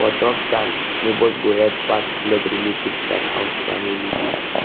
for tough times neighbors go help pass pass blood relatives thats how family dey